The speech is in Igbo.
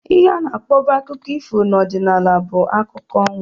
Ihe ana akpọbu akụkọ ifo na ọdịnala bụ akụkọ ọnwa